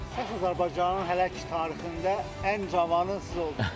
Səs Azərbaycanın hələ ki tarixində ən cavanı siz oldunuz?